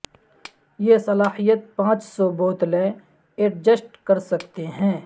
یہ صلاحیت پانچ سو بوتلیں ایڈجسٹ کر سکتے ہیں